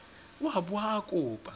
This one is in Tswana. o a bo a kopa